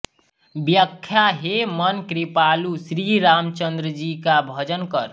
व्याख्या हे मन कृपालु श्रीरामचन्द्रजी का भजन कर